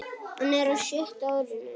Hann er á sjötta árinu.